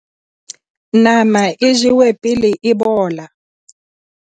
nama e jewe pele e bola